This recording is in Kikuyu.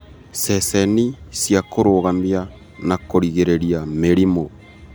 Ceceni cia kũrũgamia na kũrigĩrĩria mĩrimũ.